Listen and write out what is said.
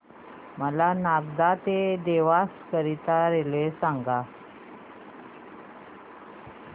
मला नागदा ते देवास करीता रेल्वे सांगा